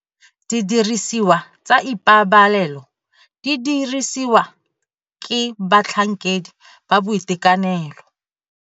Didirisiwa tsa ipabalelo tse di dirisiwang ke batlhankedi ba boitekanelo.